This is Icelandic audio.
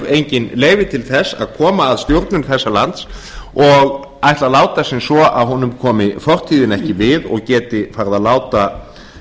enginn leyfi til þess að koma að stjórnun þessa lands og ætla að láta sem svo að honum komi fortíðin ekki við og geti farið að láta